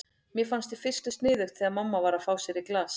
Mér fannst í fyrstu sniðugt þegar mamma var að fá sér í glas.